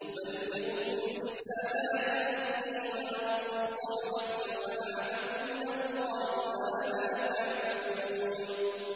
أُبَلِّغُكُمْ رِسَالَاتِ رَبِّي وَأَنصَحُ لَكُمْ وَأَعْلَمُ مِنَ اللَّهِ مَا لَا تَعْلَمُونَ